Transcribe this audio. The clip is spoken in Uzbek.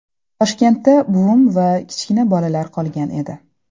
Toshkentda buvim va kichkina bolalar qolgan edi.